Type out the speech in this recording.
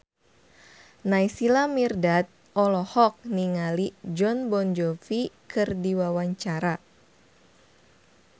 Naysila Mirdad olohok ningali Jon Bon Jovi keur diwawancara